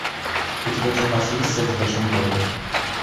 у тебя в запасе есть секс в большом городе